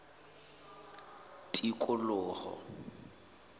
tikoloho